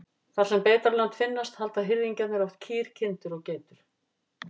Þar sem beitarlönd finnast halda hirðingjarnir oft kýr, kindur og geitur.